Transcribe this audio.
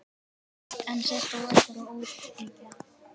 En þetta var bara óskhyggja.